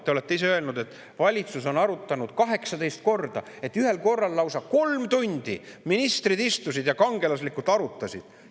Te olete ise öelnud, et valitsus on arutanud seda 18 korda, ühel korral lausa kolm tundi ministrid istusid ja kangelaslikult arutasid.